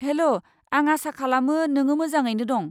हेल', आं आसा खालामो नोंङो मोजाङैनो दं।